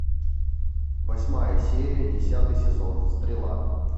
восьмая серия десятый сезон стрела